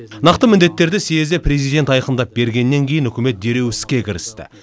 нақты міндеттерді съезде президент айқындап бергеннен кейін үкімет дереу іске кірісті